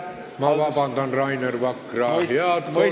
Ma palun vabandust, Rainer Vakra!